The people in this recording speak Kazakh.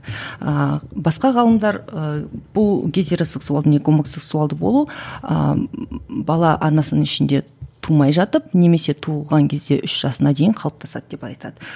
а басқа ғалымдар ыыы бұл гетеросексуалды не гомосексуалды болу ыыы бала анасының ішінде тумай жатып немесе туылған кезде үш жасына дейін қалыптасады деп айтады